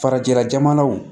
Farajɛla jamanaw